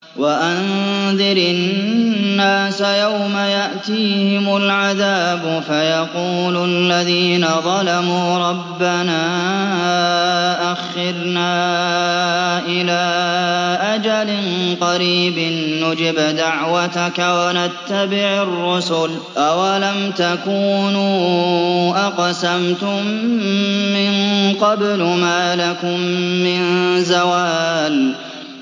وَأَنذِرِ النَّاسَ يَوْمَ يَأْتِيهِمُ الْعَذَابُ فَيَقُولُ الَّذِينَ ظَلَمُوا رَبَّنَا أَخِّرْنَا إِلَىٰ أَجَلٍ قَرِيبٍ نُّجِبْ دَعْوَتَكَ وَنَتَّبِعِ الرُّسُلَ ۗ أَوَلَمْ تَكُونُوا أَقْسَمْتُم مِّن قَبْلُ مَا لَكُم مِّن زَوَالٍ